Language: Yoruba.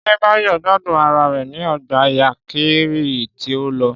Ṣé Báyọ̀ gbádùn ara rẹ̀ ní Ọgbà Yankari tí ẹ lọ?